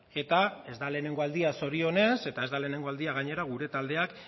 eta ez da lehenengo aldia zorionez eta ez da lehenengo aldia gainera gure taldeak